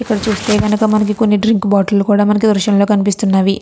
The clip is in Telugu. ఇక్కడ చుస్తే కనుక మనకి కొన్ని డ్రింక్ బాటిల్ కూడా మనకు దృశ్యంలో కనిపిస్తున్నవి.